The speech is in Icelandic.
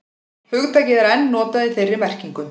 Hugtakið er enn notað í þeirri merkingu.